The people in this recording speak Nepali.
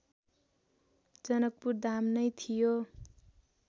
जनकपुरधाम नै थियो